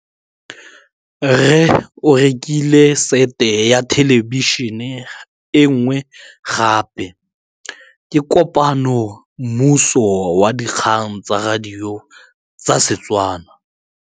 Rre o rekile sete ya thêlêbišênê e nngwe gape. Ke kopane mmuisi w dikgang tsa radio tsa Setswana.